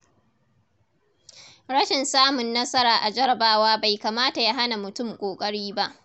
Rashin samun nasara a jarrabawa bai kamata ya hana mutum ƙoƙari ba.